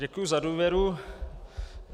Děkuji za důvěru.